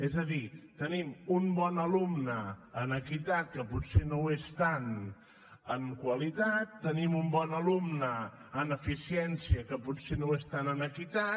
és a dir tenim un bon alumne en equitat que potser no ho és tant en qualitat tenim un bon alumne en eficiència que potser no ho és tant en equitat